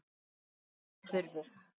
Störf hurfu.